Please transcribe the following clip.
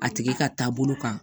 A tigi ka taabolo kan